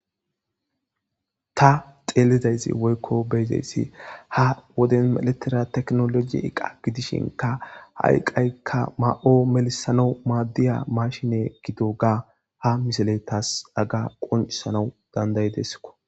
Ta xeelidayzi woykko beezeyssi ha woden meletera teknoloji iqa gidishinka hayqqaykka ma'o melisano maaddiya mashine gido ga ha misale taas aga qoncisanau dandayideskko